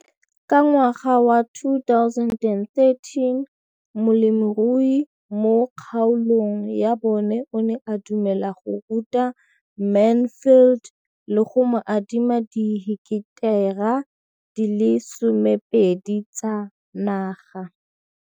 Ka ngwaga wa 2013, molemirui mo kgaolong ya bona o ne a dumela go ruta Mansfield le go mo adima di heketara di le 12 tsa naga.